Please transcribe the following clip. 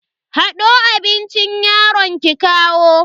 Hado abincin yaron ki kawo.